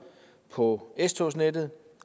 på s togsnettet